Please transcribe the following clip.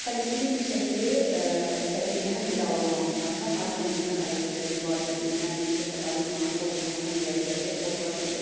Xolesterin yüksəkliyi təbii ki, həm qidalanmamızdan, həm orqanizmdə xolesterin mübadiləsindən, metabolizmanın pozulmasından irəli gələrək pozula bilir.